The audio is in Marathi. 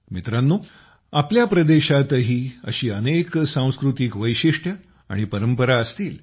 मित्रांनो आपल्या प्रदेशातही अशा अनेक सांस्कृतिक वैशिष्ट्यं आणि परंपरा असतील